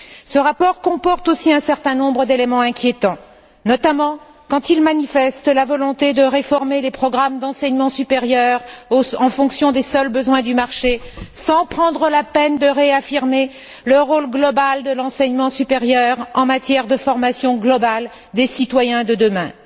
Ce rapport comporte aussi un certain nombre d'éléments inquiétants, notamment quand il manifeste la volonté de réformer les programmes d'enseignement supérieur en fonction des seuls besoins du marché, sans prendre la peine de réaffirmer le rôle global de l'enseignement supérieur en matière de formation globale des citoyens de demain.